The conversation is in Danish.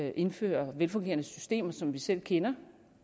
at indføre velfungerende systemer som vi selv kender